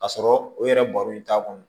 Ka sɔrɔ u yɛrɛ baro in t'a kɔnɔ